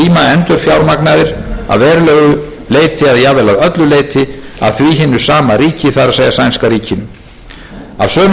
endurfjármagnaðir að verulegu leyti eða jafnvel að öllu leyti af því hinu sama ríki það